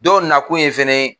Dɔw nakun ye fɛnɛ ye